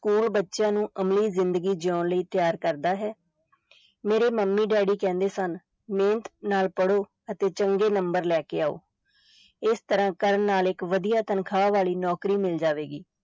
School ਬੱਚਿਆਂ ਨੂੰ ਅਮਲੀ ਜ਼ਿੰਦਗੀ ਜਿਉਣ ਲਈ ਤਿਆਰ ਕਰਦਾ ਹੈ ਮੇਰੇ ਮੰਮੀ daddy ਕਹਿੰਦੇ ਸਨ, ਮਿਹਨਤ ਨਾਲ ਪੜੋ ਅਤੇ ਚੰਗੇ number ਲੈ ਕੇ ਆਓ, ਇਸ ਤਰ੍ਹਾਂ ਕਰਨ ਨਾਲ ਇਕ ਵਧੀਆ ਤਨਖਾਹ ਵਾਲੀ ਨੌਕਰੀ ਮਿਲ ਜਾਵੇਗੀ।